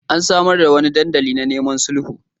An samar da wani dandali na neman sulhu.